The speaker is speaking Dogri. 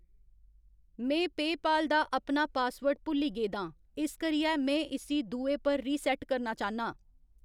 में पेऽपाल दा अपना पासवर्ड भुल्ली गेदा आं, इस करियै मैं इस्सी दुए पर रीसैट्ट करना चाह्‌न्नां।